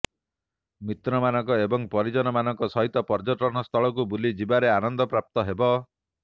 ମିତ୍ରମାନଙ୍କ ଏବଂ ପରିଜନମାନଙ୍କ ସହିତ ପର୍ଯ୍ୟଟନ ସ୍ଥଳକୁ ବୁଲି ଯିବାରେ ଆନନ୍ଦ ପ୍ରାପ୍ତ ହେବ